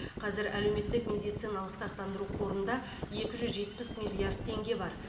қазір әлеуметтік медициналық сақтандыру қорында екі жүз жетпіс миллиард теңге бар